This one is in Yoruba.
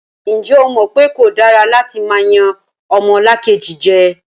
Ǹjẹ́ o mọ̀ pé kò dára látí máa yan ọmọlàkejì jẹ?